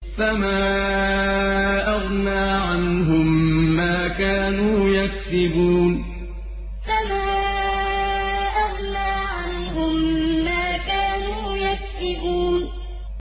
فَمَا أَغْنَىٰ عَنْهُم مَّا كَانُوا يَكْسِبُونَ فَمَا أَغْنَىٰ عَنْهُم مَّا كَانُوا يَكْسِبُونَ